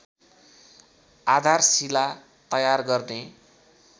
आधारशिला तयार गर्ने